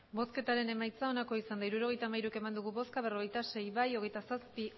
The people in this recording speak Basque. emandako botoak hirurogeita hamairu bai berrogeita sei ez hogeita zazpi